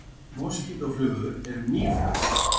Moskítóflugur eru mýflugur.